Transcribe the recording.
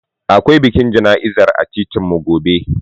Akwai bikin jana'izar a titinmu gobe.